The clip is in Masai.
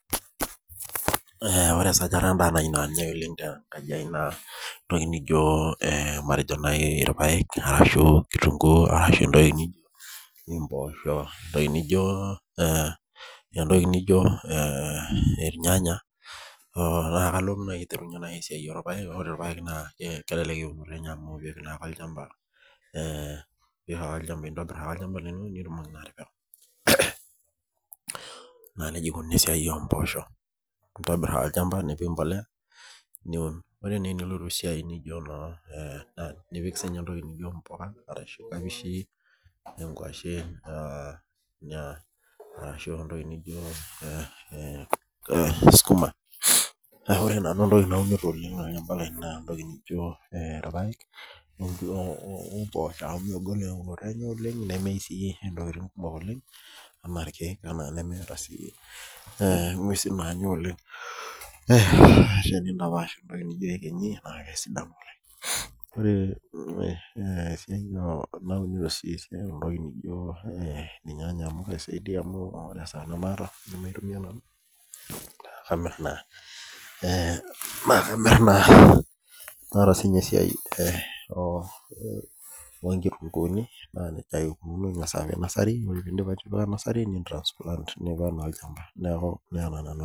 Ore sajata najii naa ninye naati enkaji naa entoki naijio irpaek arashu kitunguu arashu matejo entoki naijio mboshok entoki naijio irnganya naa kalotu naaji aierunye esiai orpaek ore irpaek naa kelelek amu entobir ake olchamba naa nejia eikunono esiai oo mboshok entobir olchamba nipik mbolea niun ore naa enilotu esiai naijio nipik sininye mbuka arashu nkapishi arashu entoki naijio sukuma naa ore nanu entoki naunito naa irpaek oo mboshok amu megol eunoto enye nemeyieu sii ntokitin kumok oleng ena irkeek nemeeta sii ng'uesi naanya oleng nintapash entoki naijio eyekenyi naaa kesidanu oleng ore esiai naunito sii entoki naijio irnganya amu keisaidia ore esaa namataa laitumia nanu naa kamir naa naa ata sininye esiai oo nkitunguni naa nejia ake eikunono eng'as apik nursery ore pee edip atipika nursery nitransplant Aya olchamba neeku Nena nanu ajo